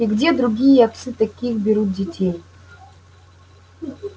и где другие отцы таких берут детей